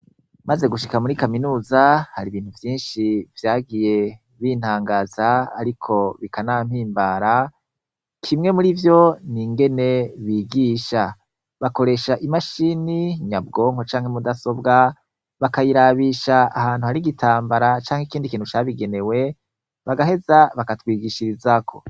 Maze gushika muri kaminuza har’ibintu vyinshi vyagiye bintangaza ariko bikanampimbara, kimwe murivyo n’ingene bigisha, bakoresha imashini nyabwonko canke mudasobwa bakayirabisha ahantu har’igitambara cank’ikindi kintu cabigenewe bagaheza, bakatwigishirizako.